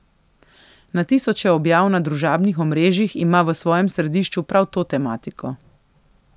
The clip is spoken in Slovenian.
Na tisoče objav na družabnih omrežjih ima v svojem središču prav to tematiko.